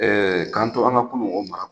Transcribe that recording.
Ɛɛ k'an to an ka kunu o mara